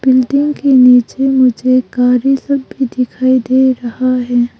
Building के नीचे मुझे गारी सब भी दिखाई दे रहा है।